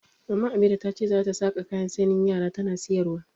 Maman Amira ta ce za ta saƙa kayan sanyin yara tana sayarwa.